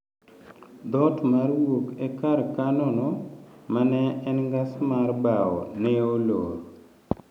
dhoot mar wuok e kar kano no ma ne en ngas mar bao ne olor